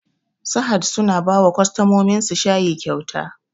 Sahad suna bawa kwastamominsu shayi kyauta